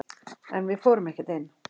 En við fórum ekkert inn.